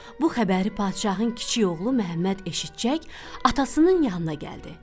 Bu xəbəri padşahın kiçik oğlu Məmməd eşitcək, atasının yanına gəldi.